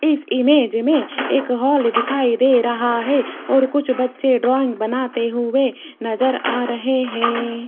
इस इमेज में एक हाल दिखाई दे रहा है और कुछ बच्चे ड्राइंग बनाते हुए नजर आ रहे हैं।